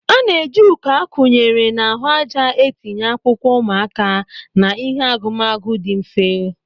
A na-eji uko a kunyere n'ahụ ájá etinye akwụkwọ ụmụaka na ihe agumagu dị mfe.